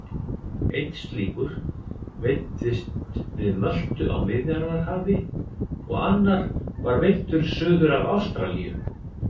Einn slíkur veiddist við Möltu á Miðjarðarhafi og annar var veiddur suður af Ástralíu.